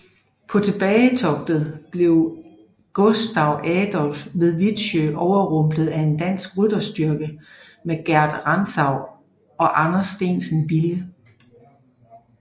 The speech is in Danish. På tilbagetoget blev Gustav Adolf ved Wittsjö overrumplet af en dansk rytterstyrke under Gerd Rantzau og Anders Steensen Bille